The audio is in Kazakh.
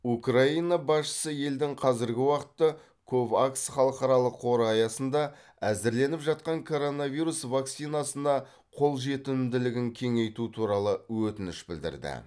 украина басшысы елдің қазіргі уақытта ковакс халықаралық қоры аясында әзірленіп жатқан коронавирус вакцинасына қолжетімділігін кеңейту туралы өтініш білдірді